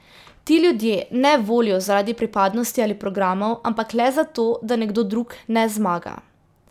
Ti ljudje ne volijo zaradi pripadnosti ali programov, ampak le zato, da nekdo drug ne zmaga.